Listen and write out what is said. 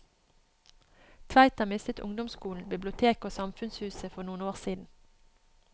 Tveita mistet ungdomsskolen, biblioteket og samfunnshuset for noen år siden.